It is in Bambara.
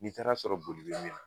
N'i taara sɔrɔ boli be min na